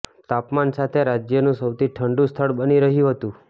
તાપમાન સાથે રાજ્યનું સૌથી ઠંડું સ્થળ બની રહ્યું હતું